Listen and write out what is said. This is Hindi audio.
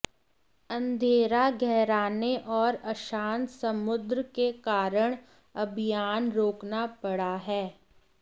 अंधेरा गहराने और अशांत समुद्र के कारण अभियान रोकना पड़ा है